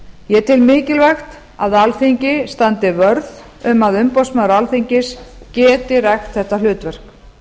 ég tel mikilvægt að alþingi standi vörð um að umboðsmaður alþingis geti rækt þetta hlutverk